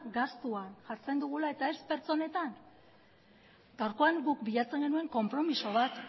gastuan jartzen dugula eta ez pertsonetan gaurkoan guk bilatzen genuen konpromezu bat